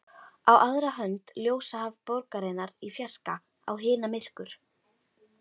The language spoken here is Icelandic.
Á aðra hönd ljósahaf borgarinnar í fjarska, á hina myrkur.